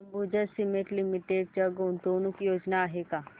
Ambuja Cement Limited च्या गुंतवणूक योजना आहेत का